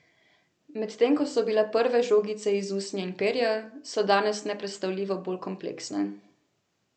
Medtem ko so bile prve žogice iz usnja in perja, so danes nepredstavljivo bolj kompleksne.